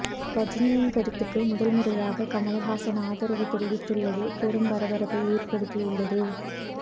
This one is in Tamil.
ரஜினியின் கருத்துக்கு முதல் முறையாக கமலஹாசன் ஆதரவு தெரிவித்துள்ளது பெரும் பரபரப்பை ஏற்படுத்தி உள்ளது